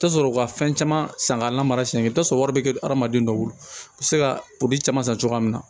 I bi t'a sɔrɔ u ka fɛn caman san k'a lamara sen i bi t'a sɔrɔ wari bɛ kɛ adamaden dɔw bolo i bɛ se ka poro caman san cogoya min na